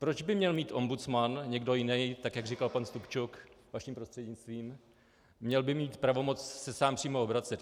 Proč by měl mít ombudsman, někdo jiný, tak jak říkal pan Stupčuk vaším prostřednictvím, měl by mít pravomoc se sám přímo obracet?